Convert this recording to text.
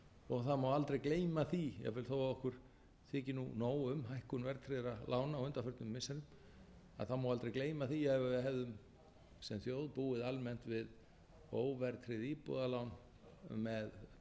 vexti það má aldrei gleyma því jafnvel þó okkur þyki nú nóg um hækkun verðtryggðra lána á undanförnum missirum má aldrei gleyma því að ef við hefðum sem þjóð búið almennt við óverðtryggð íbúðalán með breytilegum vöxtum